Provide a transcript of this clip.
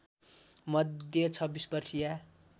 मध्ये २६ वर्षीया